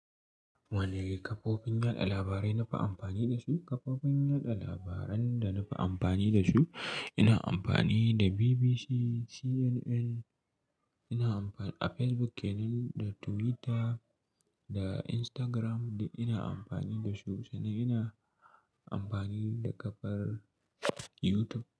Wane ne kafofin yaɗa labarai nafi amfani da su? Kafofin yada labaran da nafi amfani da su, ina amfani da BBC, CNN, ina amfani da Facebook kenan, da Twitter da Instagram, ina amfani da su, sannan ina amfani da kafar YouTube.